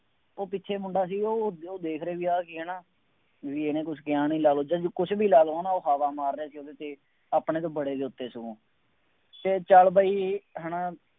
ਉਹ ਪਿੱਛੇ ਮੁੰਡਾ ਸੀ ਉਹ ਉਹ ਦੇਖ ਰਿਹਾ ਬਈ ਆਂਹ ਕੀ ਹੈ ਨਾ, ਬਈ ਇਹਨੇ ਕੁੱਛ ਕਿਹਾ ਨਹੀਂ, ਲਾ ਲਉ, ਚੱਲੋ, ਕੁੱਛ ਵੀ ਲਾ ਲਉ ਹੈ ਨਾ ਉਹ ਹਵਾ ਮਾਰ ਰਿਹਾ ਸੀ ਅਤੇ ਆਪਣੇ ਤੋਂ ਪਰੇ ਲੁੱਕ ਕੇ ਸਗੋਂ ਅਤੇ ਚੱਲ ਬਈ ਹੈ ਨਾ